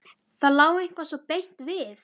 Það lá eitthvað svo beint við.